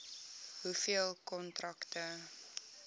hoeveel kontrakte